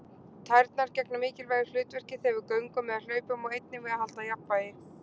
Tærnar gegna mikilvægu hlutverki þegar við göngum eða hlaupum og einnig við að halda jafnvægi.